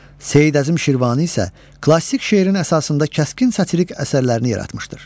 Seyid Əzim Şirvani isə klassik şeirin əsasında kəskin satirik əsərlərini yaratmışdır.